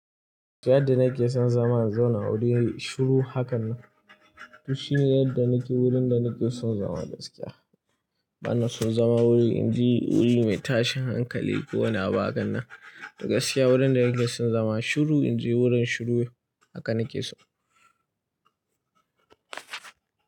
Fiye da na ke son zama na zauna wuri shiru haka nan. Duk shi ne yadda na ke wurin da na ke son zama gaskiya. Bana son zama wuri, in ji wuri mai tashin hankali ko wani abu hakan nan. Gaskiya wurin da na ke son zama shiru, in ji wurin shiru haka na ke so.